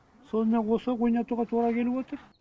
сонымен осылай ойнатуға тура келіп отыр